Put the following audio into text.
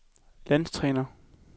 landstræner